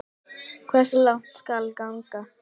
Hversu langt skal ganga?